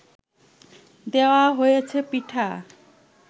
দেওয়া হয়েছে পিঠা